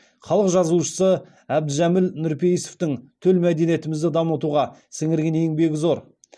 халық жазушысы әбдіжәміл нұрпейісовтің төл мәдениетімізді дамытуға сіңірген еңбегі зор